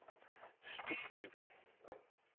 Stubbekøbing